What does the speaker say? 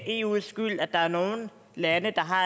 eus skyld at der er nogle lande der har